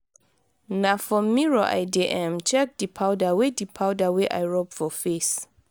na for mirror i dey um check di powder wey di powder wey i rob for face.